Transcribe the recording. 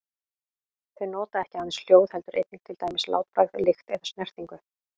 Þau nota ekki aðeins hljóð heldur einnig til dæmis látbragð, lykt eða snertingu.